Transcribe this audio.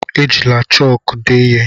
Ejikwala chọk ede ihe!